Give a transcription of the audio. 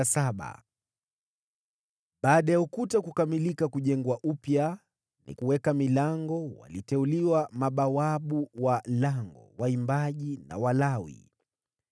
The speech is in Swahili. Baada ya ukuta kukamilika kujengwa upya na nikaweka milango, mabawabu wa lango, waimbaji, na Walawi waliteuliwa.